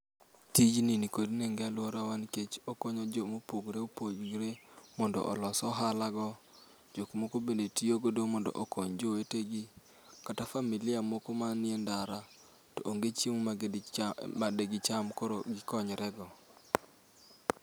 Tijni nikod nengo e aluorawa nikech okonyo ji mopogore opogore mondo olos ohalago. Jok moko bende tiyogo mondo okony jowetegi, kata familia moko manie ndara to onge chiemo madigicham koro gikonyrego.